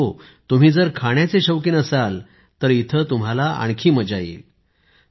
आणि हो तुम्ही जर खाण्याचे शौकीन असाल तर इथे तुम्हाला आणखी मजा येईल